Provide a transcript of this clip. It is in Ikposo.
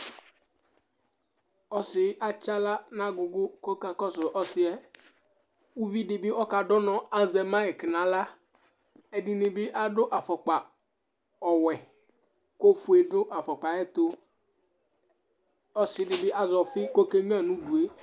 Ɔsɩ atsɩ aɣla nʋ agʋgʋ kʋ ɔkakɔsʋ ɔsɩ yɛ, uvidɩ bɩ ɔkadʋ ʋnɔ azɛ mayɛk nʋ aɣla, ɛdɩnɩ bɩ adʋ afɔkpa ɔwɛ kʋ ofue dʋ afɔkpa yɛ ɛtʋ, ɔsɩ dɩ bɩ azɛ ɔfɩ kʋ okenyuǝ nʋ udu yɛ